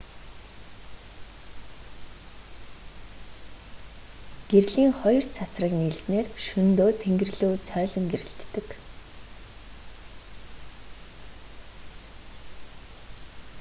гэрлийн хоёр цацраг нийлснээр шөнөдөө тэнгэр лүү цойлон гэрэлтдэг